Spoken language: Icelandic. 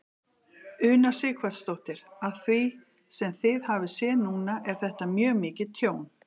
Una Sighvatsdóttir: Af því sem þið hafið séð núna er þetta mjög mikið tjón?